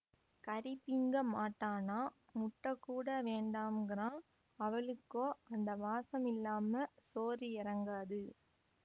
கறி திங்கமாட்டானாம் முட்டைகூட வேண்டாம்கிறான்அவுகளுக்கோ அந்த வாசமில்லாம சோறு எறங்காது